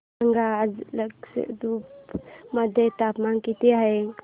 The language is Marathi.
सांगा आज लक्षद्वीप मध्ये तापमान किती आहे